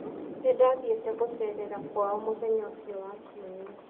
Nĩ ndathiĩte gũceerera kwao mũthenya ũcio wa kiumia.